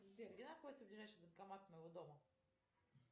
сбер где находится ближайший банкомат у моего дома